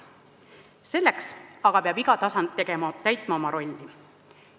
Selleks aga peab iga tasand täitma oma rolli.